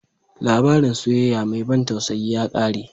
Labarin soyayya mai ban tausayi ya ƙare.